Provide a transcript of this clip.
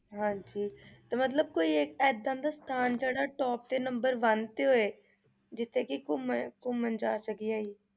ਹਾਂਜੀ ਤੇ ਮਤਲਬ ਕੋਈ ਏਦਾਂ ਦਾ ਸਥਾਨ ਜਿਹੜਾ top ਤੇ number one ਤੇ ਹੋਏ ਜਿੱਥੇ ਕਿ ਘੁੰਮਣ ਘੁੰਮਣ ਜਾ ਸਕੀਏ ਅਸੀਂ।